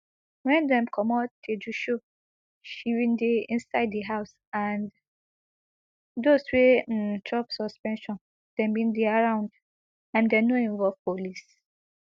wen dem comot tejusho she bin dey inside di house and those wey um chop suspension dem bin dey around and dem no involve police